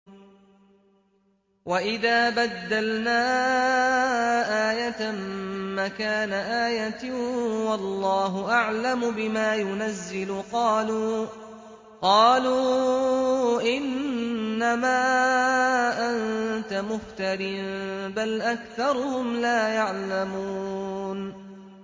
وَإِذَا بَدَّلْنَا آيَةً مَّكَانَ آيَةٍ ۙ وَاللَّهُ أَعْلَمُ بِمَا يُنَزِّلُ قَالُوا إِنَّمَا أَنتَ مُفْتَرٍ ۚ بَلْ أَكْثَرُهُمْ لَا يَعْلَمُونَ